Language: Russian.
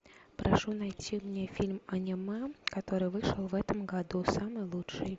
прошу найти мне фильм аниме который вышел в этом году самый лучший